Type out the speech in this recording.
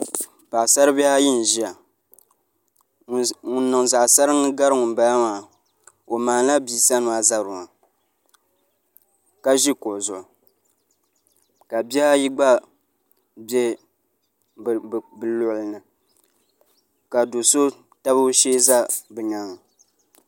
Paɣasari bihi ayi n ʒiya ŋun niŋ zaɣ saringi gari ŋunbala maa o maandila bia sani maa zabiri maa ka ʒi kuɣu zuɣu ka bihi ayi gba bɛ bi luɣuli ni ka do so tabi o shee ʒɛ bi nyaaanga